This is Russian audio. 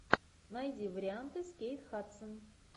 найди варианты с кейт хадсон